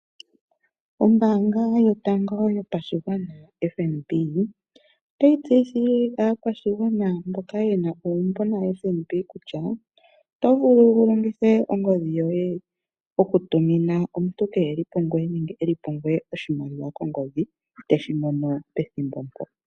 Ombanga yotango yopashingwana FNB otayi tseyithile akwashingwana mboka yena uumbo na FNB kutya oto vulu wulongithe ongodhi yoye oku tumina omuntu keli pungweye nenge eli pungweye oshimaliwa kongodhi teshimono pethimbo po.